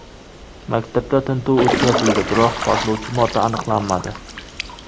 Maktabda tintuv o‘tkazildi, biroq portlovchi modda aniqlanmadi.